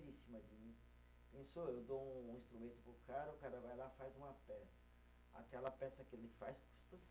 Eu dou um instrumento para o cara, o cara vai lá e faz uma peça, aquela peça que ele faz custa